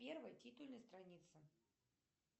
первая титульная страница